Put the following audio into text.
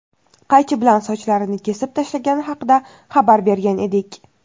qaychi bilan sochlarini kesib tashlagani haqida xabar bergan edik.